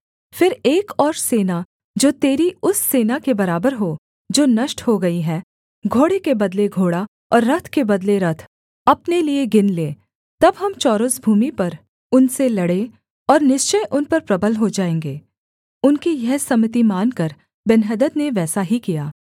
फिर एक और सेना जो तेरी उस सेना के बराबर हो जो नष्ट हो गई है घोड़े के बदले घोड़ा और रथ के बदले रथ अपने लिये गिन ले तब हम चौरस भूमि पर उनसे लड़ें और निश्चय उन पर प्रबल हो जाएँगे उनकी यह सम्मति मानकर बेन्हदद ने वैसा ही किया